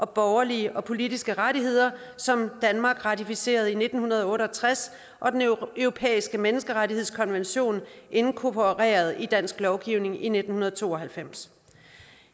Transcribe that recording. borgerlige og politiske rettigheder som danmark ratificerede nitten otte og tres og den europæiske menneskerettighedskonvention inkorporeret i dansk lovgivning i nitten to og halvfems